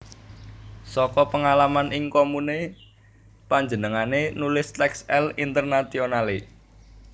Saka pengalaman ing komune panjenengané nulis teks L Internationale